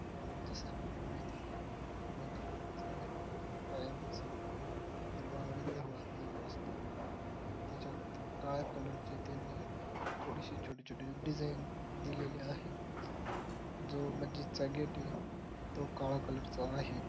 जस आपल्याला माहित आहे मस्जिदचा कायमस्वरूपी हिरवा आणि कलर असतो त्याच्यात काळ्या कलर ची त्यांनी थोडीशी छोटी छोटी डिझाईन दिलेली आहे. जो मस्जिद चा गेट आहे तो काळ्या कलर चा आहे.